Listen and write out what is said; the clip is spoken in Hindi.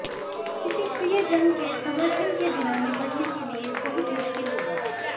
किसी प्रियजन के समर्थन के बिना निपटने के लिए बहुत मुश्किल होगा